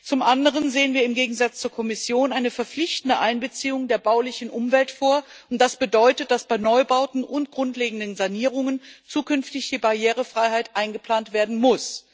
Zum anderen sehen wir im Gegensatz zur Kommission eine verpflichtende Einbeziehung der baulichen Umwelt vor, und das bedeutet, dass bei Neubauten und grundlegenden Sanierungen zukünftig die Barrierefreiheit eingeplant werden muss.